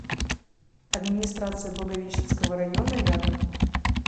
администрация благовещенского района рядом